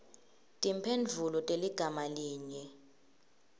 timphendvulo teligama linye